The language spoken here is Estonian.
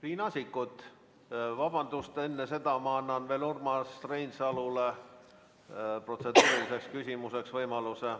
Riina Sikkut, vabandust, enne seda ma annan veel Urmas Reinsalule sõna protseduuriliseks küsimuseks.